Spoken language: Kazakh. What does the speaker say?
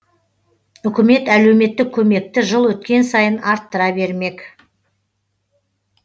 үкімет әлеуметтік көмекті жыл өткен сайын арттыра бермек